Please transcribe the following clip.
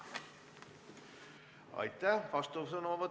Aitäh!